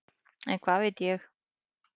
En hvað veit ég.